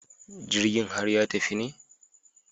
Jirgin har ya tafi ne?